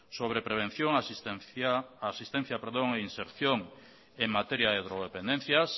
sobre prevención asistencia e inserción en materia de drogodependencias